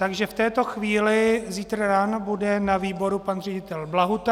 Takže v této chvíli, zítra ráno bude na výboru pan ředitel Blahuta.